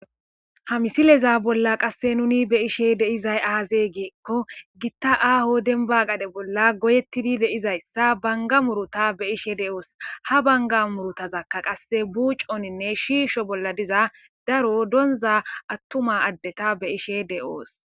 Ha misileza bolla qasse nuni beyishe deizay aazey giikko gitta aaho denbagade bolla goyettidi deizayssa banga muruta be ishe de'oos ha banga murutazakka qasse buuconinne shiisho bolla diza daro doonzha attuma addeta be ishe de'oos.